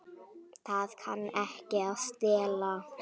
Það kann ekki að stela.